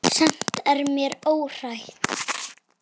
Samt er mér órótt.